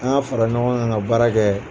An k'a fara ɲɔgɔn kan ka baara kɛ